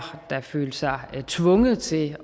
der følte sig tvunget til